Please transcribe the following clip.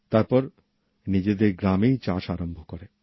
তারপর নিজেদের গ্রামেই চাষ আরম্ভ করে